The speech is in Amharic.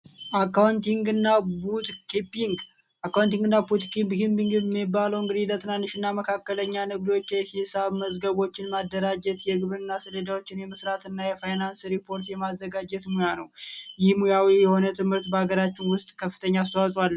አካውንቲንግና ቡክ ኪፒንግ አካውንቲንግና ቡክ ኪፒንግ የሚባለው እንግዲህ ለትንንሽና መካከለኛ ንግዶች የሂሳብ መዝገብችን ማደራጀት የግብርና ሰለሌዳዎችን የመሥራት እና የፋይናንስ ሪፖርት የማዘጋጀት ሙያ ነው። ይህ ሙያዊ የሆነ ትምህርት በአገራችን ውስጥ ከፍተኛ አስተዋጽኦ አለው።